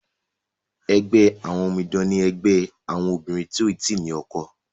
ègbé àwọn òmìdan ní ègbé àwọn obìrin tíó tí ní ọkọ.